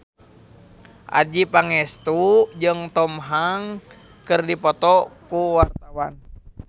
Adjie Pangestu jeung Tom Hanks keur dipoto ku wartawan